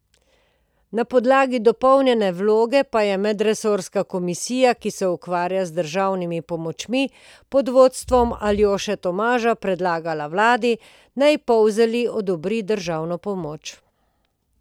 Na podlagi dopolnjene vloge pa je medresorska komisija, ki se ukvarja z državnimi pomočmi, pod vodstvom Aljoše Tomaža predlagala vladi, naj Polzeli odobri državno pomoč.